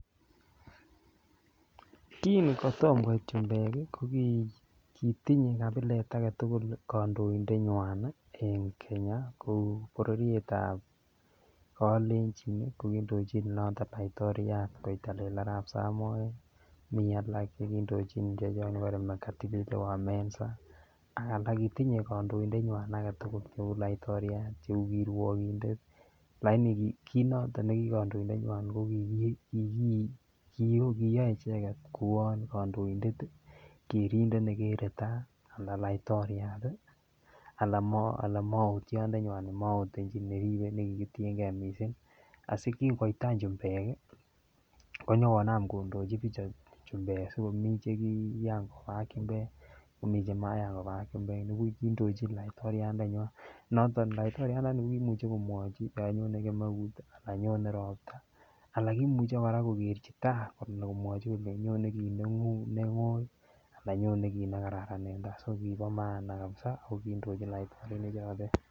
Kin koyom koit chumbek kii ko kotinye agetutuk kondoidet nywan nii en Kenya bororietab kelenjin ko kindochin noton laitoriat koitalel Arab Samoe mii alak chekindojin chepyoset nekibore Mekatilili Wa Menza ak alak kotinye kondoindenyin agetutuk kou laitoriat cheu kiruokinde lakini ki noton nekikondoindenywan ko kiki koyoe icheket kouwan kondoidet Kerindet nekere tai ana laitoriat tii ana mootyo ndenywan nemootenyin en neribe nekikitiyengee missing asikin koit any chumbek konyokonam kondochi bichu chumbek sikomii chekiyan koba ak chumbek komii chemayan koba ak chumbek nibuvh kindochin laitoriat ndenywan noton laitoriat ndoni ko kimuche komwoi bik yon anyone kemeut ana nyone ropta ana komuche koraa kokerchitai kimwochi kolenji nyone kit nengo ana nyone kit nekararan en tai so Kibo maana kabisa ak kindochi laitorinik chotet